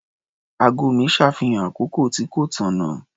Ago mi ṣàfihàn àkókò tí kò tànnà.